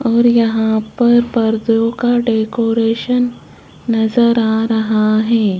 और यहां पर पर्दों का डेकोरेशन नजर आ रहा है।